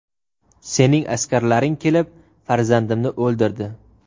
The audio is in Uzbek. Sening askarlaring kelib farzandimni o‘ldirdi.